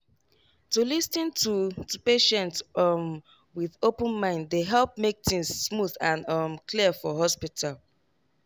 to lis ten to to patient um with open mind dey help make things smooth and um clear for hospital.